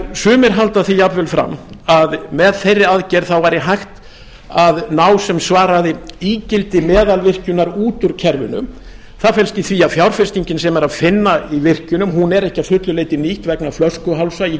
sumir halda því jafnvel fram að með þeirri aðgerð þá væri hægt að ná sem svaraði ígildi meðalvirkjunar út úr kerfinu það felst í því að fjárfestingin sem er að finna í virkjunum er ekki að fullu leyti nýtt vegna flöskuhálsa í